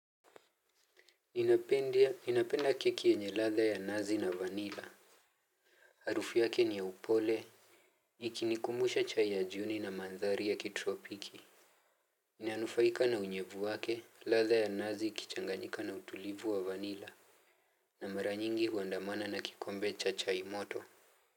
Ninapenda keki yenye ladha ya nazi na vanila. Harufu yake ni ya upole ikinikumusha chai ya jioni na madhari ya kitropiki inanufaika na unyevu wake ladha ya nazi ikichanganyika na utulivu wa vanila. Na mara nyingi huandamana na kikombe cha chai moto.